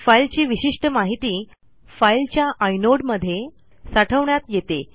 फाईलची विशिष्ट माहिती फाईलच्या आय नोड मध्ये साठवण्यात येते